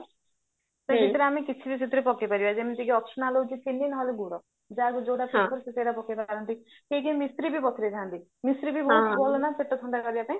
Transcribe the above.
ତା ଭିତରେ ଆମେ କିଛି ବି ସେଥିରେ ପକେଇପାରିବା ଯେମତି କି optional ହଉଚି ଚିନି ନହେଲେ ଗୁଡ ଯାହାକୁ ଯୋଉଟା ପସନ୍ଦ ସେ ସେଇଟା ପକେଇପାରନ୍ତି କେହି କେହି ମିଶ୍ରି ବି ମିଶ୍ରି ବି ବହୁତ ଭଲ ନାପେଟ ଥଣ୍ଡା କରିବା ପାଇଁ